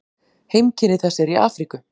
Heimkynni þess eru í Afríku.